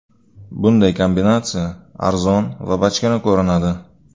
Bunday kombinatsiya arzon va bachkana ko‘rinadi.